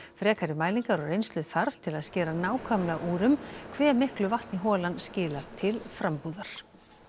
frekari mælingar og reynslu þarf til að skera nákvæmlega úr um hve miklu vatni holan skilar til frambúðar